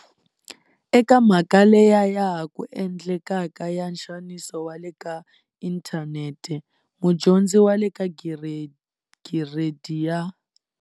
Eka mhaka leya ya ha ku endlekaka ya nxaniso wa le ka inthanete, mudyondzi wa le ka Gire di ya.